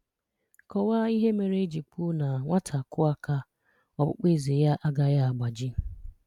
Kọwaa ihe mere eji kwuo na nwata kụọ aka, ọkpụkpụ eze ya agaghị agbaji.